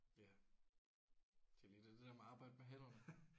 Ja det er lige det der med at arbejde med hænderne